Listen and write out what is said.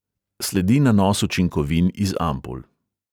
Sledi nanos učinkovin iz ampul.